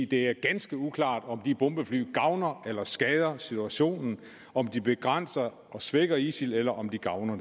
det er ganske uklart om de bombefly gavner eller skader situationen om de begrænser og svækker isil eller om de gavner